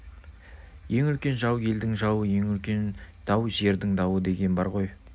ең үлкен жау елдің жауы ең үлкен дау жердің дауы деген бар ғой